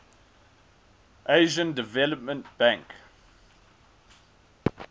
asian development bank